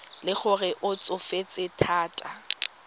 le gore o tsofetse thata